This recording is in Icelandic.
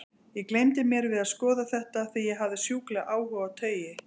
Ég gleymdi mér við að skoða þetta, því ég hafði sjúklegan áhuga á taui.